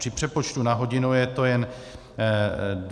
Při přepočtu na hodinu je to jen 25 Kč.